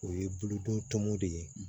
O ye bolo donmɔw de ye